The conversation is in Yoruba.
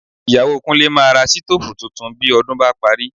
Ìyàwó Kúnlé máa ra sítóòfù tuntun bí ọdún bá parí